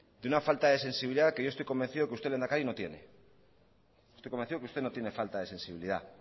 de una falta de sensibilidad que yo estoy convencido que usted lehendakari no tiene estoy convencido que usted no tiene falta de sensibilidad